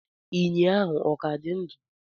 enyí ahụ ọ ka dị ndụ?